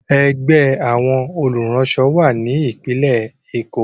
Ẹgbẹ́ àwọn olùránṣọ wà ní Ìpínlẹ̀ Èkó.